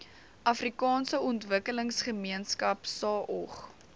afrikaanse ontwikkelingsgemeenskap saog